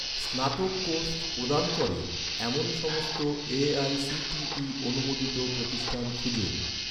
স্নাতক কোর্স প্রদান করে, এমন সমস্ত এ.আই.সি.টি.ই অনুমোদিত প্রতিষ্ঠান খুঁজুন